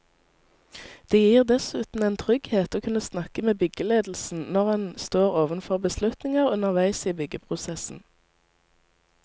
Det gir dessuten en trygghet å kunne snakke med byggeledelsen når en står overfor beslutninger underveis i byggeprosessen.